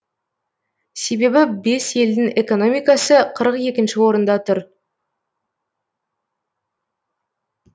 себебі бес елдің экономикасы қырық екінші орында тұр